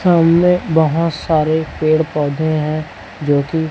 सामने बहोत सारे पेड़ पौधे हैं जो की--